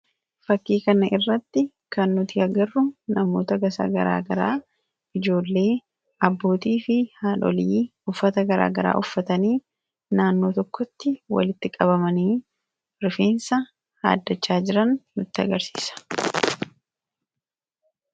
Fakkii kanarratti kan nuti agarru namoota gosa garaagaraa ijoollee, abbootii fi haadhotii uffata garaagaraa uffatanii naannoo tokkotti walitti qabamanii rifeensa haaddachaa jiran nutti argisiisa.